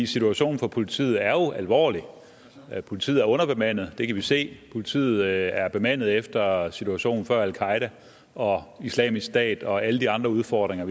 situationen for politiet er jo alvorlig politiet er underbemandet det kan vi se politiet er bemandet efter situationen før al qaeda og islamisk stat og alle de andre udfordringer